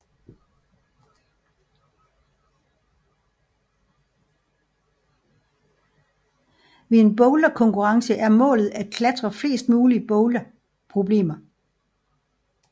Ved en boulderkonkurrence er målet at klatre flest mulig boulderproblemer